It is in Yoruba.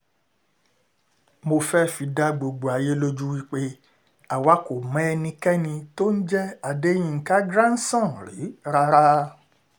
mo fẹ́ẹ́ fi dá gbogbo ayé lójú wí pé àwa kò mọ ẹnikẹ́ni tó ń jẹ́ adéyinka grandson rí rárá